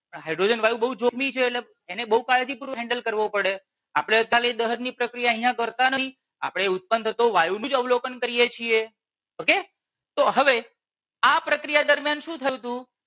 Hydrogen વાયુ બહુ જોખમી છે એટલે એને બહુ કાળજીપૂર્વક handle કરવો પડે. આપણે ખાલી દહનની પ્રક્રિયા અહિયાં કરતાં નથી આપણે ઉત્પન્ન થતો વાયુ બી અવલોકન કરીએ છીએ okay તો હવે આ પ્રક્રિયા દરમિયાન શું થયું હતું